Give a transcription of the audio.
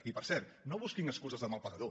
i per cert no busquin excuses de mal pagador